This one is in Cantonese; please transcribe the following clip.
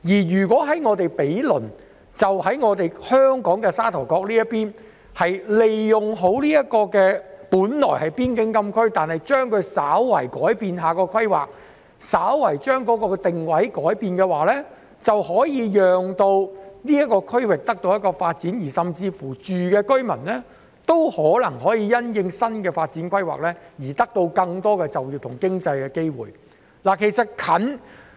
如果毗鄰的香港沙頭角能善用本來是邊境禁區的土地，稍為改變規劃及改變定位，便可讓這個區域得到發展，而當地居民亦可能因新的發展規劃而獲得更多就業和經濟發展的機會。